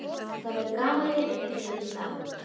Það verður gaman að vita hvernig þér líst á.